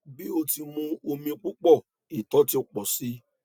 bi o ti mu omi pupọ ìtọ ti pọ síi